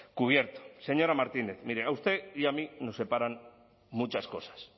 cubierto señora martínez mire a usted y a mí nos separan muchas cosas